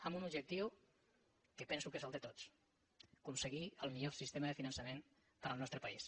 amb un objectiu que penso que és el de tots aconseguir el millor sistema de finançament per al nostre país